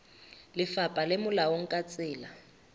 lefapha le molaong ka tsela